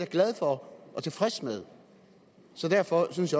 glad for og tilfreds med derfor synes